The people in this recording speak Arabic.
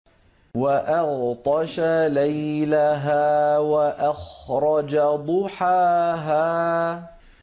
وَأَغْطَشَ لَيْلَهَا وَأَخْرَجَ ضُحَاهَا